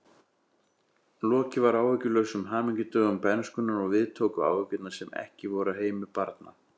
Lokið var áhyggjulausum hamingjudögum bernskunnar og við tóku áhyggjur sem ekki voru af heimi barna.